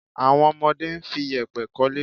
Àwọn ọmọdé ń fi yèpẹ̀ k'ọ́lé.